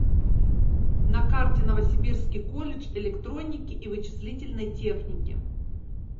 на карте новосибирский колледж электроники и вычислительной техники